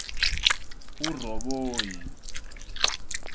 urhoboyi